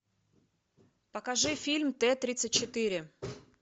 покажи фильм т тридцать четыре